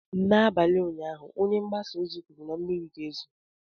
N'abalị ụnyaahụ, Onye mgbasa ozi kwuru na mmiri ga-ezo.